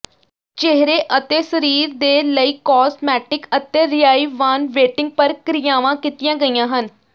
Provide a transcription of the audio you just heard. ਚਿਹਰੇ ਅਤੇ ਸਰੀਰ ਦੇ ਲਈ ਕੋਸਮੈਟਿਕ ਅਤੇ ਰੀਆਇਵਾਨਵੇਟਿੰਗ ਪ੍ਰਕਿਰਿਆਵਾਂ ਕੀਤੀਆਂ ਗਈਆਂ ਹਨ